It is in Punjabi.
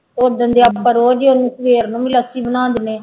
ਓਦਣ ਦੇ ਆਪਾਂ ਰੋਜ਼ ਹੀ ਉਹਨੂੰ ਸਵੇਰ ਨੂੰ ਵੀ ਲੱਸੀ ਬਣਾ ਦਿੰਦੇ ਹਾਂ।